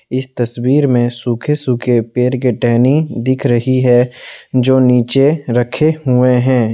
इस तस्वीर में सूखे सूखे पेड़ के टहनी दिख रही है जो नीचे रखे हुए हैं।